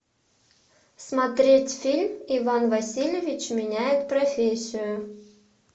смотреть фильм иван васильевич меняет профессию